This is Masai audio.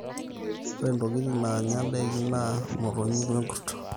ore ntokitin naanya ndaiki naa motonyik oo olkurto